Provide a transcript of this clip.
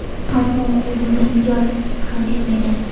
ammo u buni inkor ham etmagan.